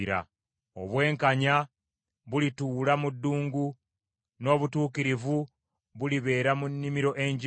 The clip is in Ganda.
Obwenkanya bulituula mu ddungu, n’obutuukirivu bulibeera mu nnimiro engimu.